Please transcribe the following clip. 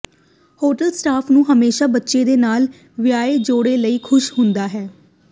hotel staff ਨੂੰ ਹਮੇਸ਼ਾ ਬੱਚੇ ਦੇ ਨਾਲ ਵਿਆਹੇ ਜੋੜੇ ਲਈ ਖੁਸ਼ ਹੁੰਦਾ ਹੈ